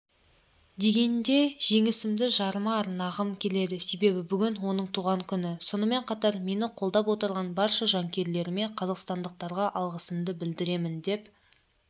дегенде жеңісімді жарыма арнағым келеді себебі бүгін оның туған күні сонымен қатар мені қолдап отырған барша жанкүйерлеріме қазақстандықтарға алғысымды білдіремін деп